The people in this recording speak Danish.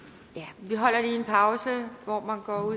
vi holder lige en pause hvor man går ud i